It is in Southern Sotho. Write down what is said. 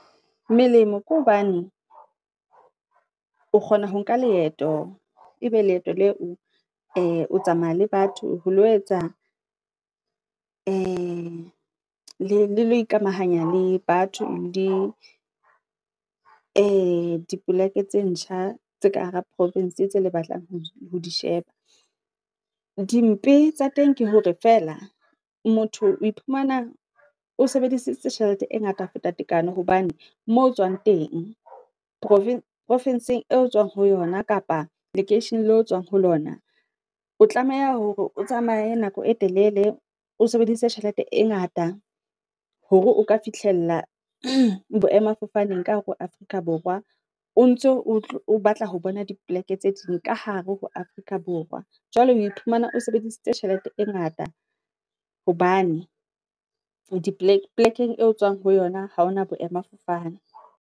Melemo ke hobane, o kgona ho nka leeto, ebe leeto leo, o tsamaya le batho ho lo etsa, e le ikamahanya le batho di e dipolake tse ntjha tse ka hara province, tse le batlang ho disheba. Dimpe tsa teng ke hore fela, motho o iphumana o sebedisitse tjhelete e ngata feta tekano, hobane moo tsoang teng, profising eo otsoang ho yona, kapa lekeisheneng leo o tsoang ho lona, O tlameha hore o tsamaye nako e telele, o sebedise tjhelete e ngata, hore o ka fihlella boemafofaneng ka hare ho Afrika Borwa, o ntso o batla ho bona dipoleke tse ding ka hare ho Afrika Borwa. Jwale oe phumana, o sebedisitse tjhelete e ngata, hobane di polekeng e tswang ho yona ha hona boemafofane.